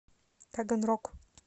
таганрог